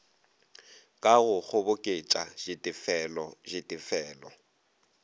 ka go kgoboketša ditefelo ditefelo